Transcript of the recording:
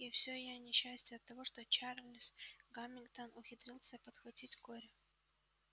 и всё её несчастья оттого что чарлз гамильтон ухитрился подхватить корь